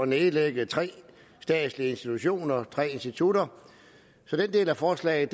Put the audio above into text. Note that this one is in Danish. nedlægge tre statslige institutioner tre institutter så den del af forslaget